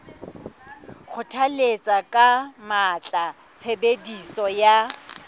kgothalletsa ka matla tshebediso ya